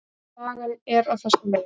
Sagan er á þessa leið: